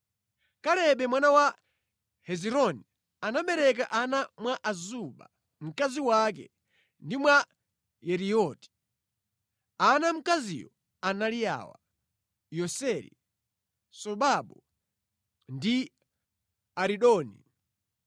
Kalebe mwana wa Hezironi anabereka ana mwa Azuba mkazi wake (ndi mwa Yerioti). Ana a mkaziyo anali awa: Yeseri, Sobabu ndi Aridoni.